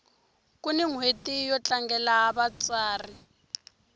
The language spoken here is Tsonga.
kuni nhweti yo tlangela vatsari